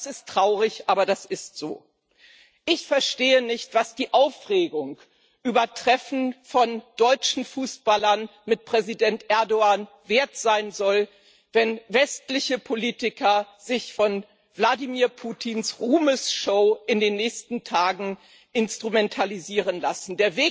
Das ist traurig, aber das ist so. Ich verstehe nicht, was die Aufregung über Treffen von deutschen Fußballern mit Präsident Erdoğan wert sein soll, wenn westliche Politiker sich von Wladimir Putins Ruhmesshow in den nächsten Tagen instrumentalisieren lassen.